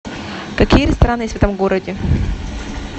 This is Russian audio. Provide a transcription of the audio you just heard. какие рестораны есть в этом городе